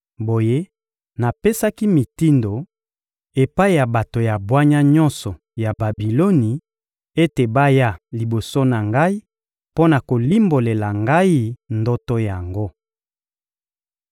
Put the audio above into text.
Boye, napesaki mitindo epai ya bato ya bwanya nyonso ya Babiloni ete baya liboso na ngai mpo na kolimbolela ngai ndoto yango.